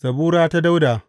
Zabura ta Dawuda.